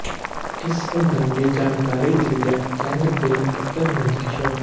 ਇਸ ਸੰਬੰਧੀ ਜਾਣਕਾਰੀ ਦਿੰਦਿਆਂ ਚੰਦ ਬਿੰਦ ਪੁੱਤਰ ਨੰਦ ਕਿਸ਼ੋਰ